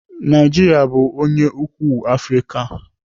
Naijiria bụ onye ukwuu Afrịka.